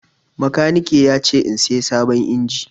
Makaniki ya ce in saya sabon injin.